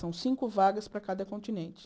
São cinco vagas para cada continente.